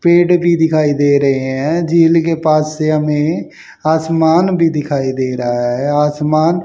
पेड़ भी दिखाई दे रहे हैं झील के पास से हमें आसमान भी दिखाई दे रहा है आसमान--